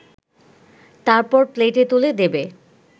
তারপর প্লেটে তুলে দেবে